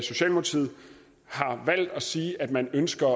sige at man ønsker